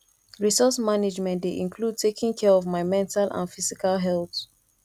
resource management dey include taking care of my mental and physical health